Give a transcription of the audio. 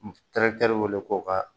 w weele ko ka